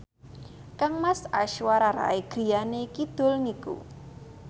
kangmas Aishwarya Rai griyane kidul niku